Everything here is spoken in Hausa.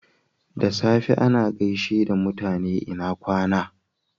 Da safe ana gaishe mutane "lna kwana."